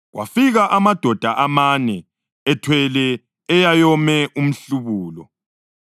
Kwafika amadoda amane ethwele eyayome umhlubulo.